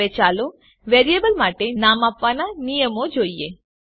હવે ચાલો વેરીએબલ માટે નામ આપવાના નિયમો જોઈએ